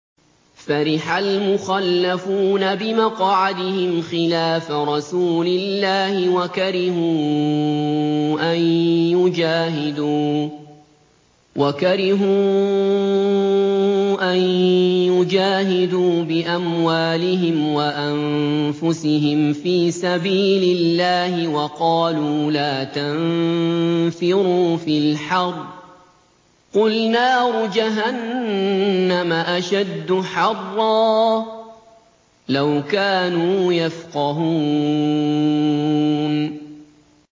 فَرِحَ الْمُخَلَّفُونَ بِمَقْعَدِهِمْ خِلَافَ رَسُولِ اللَّهِ وَكَرِهُوا أَن يُجَاهِدُوا بِأَمْوَالِهِمْ وَأَنفُسِهِمْ فِي سَبِيلِ اللَّهِ وَقَالُوا لَا تَنفِرُوا فِي الْحَرِّ ۗ قُلْ نَارُ جَهَنَّمَ أَشَدُّ حَرًّا ۚ لَّوْ كَانُوا يَفْقَهُونَ